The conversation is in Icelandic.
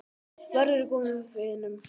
Verður góðum vinum falinn.